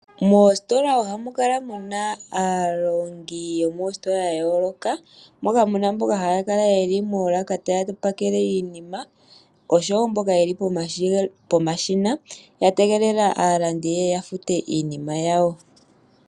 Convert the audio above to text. Moositola ohamu kala mu na aalongi yomoositola ya yooloka moka mu na mboka haya kala ye li moolaka taya pakele iinima osho wo mboka ye li pomashina ya tegelela aalandi ye ye ya fute iinima yawo.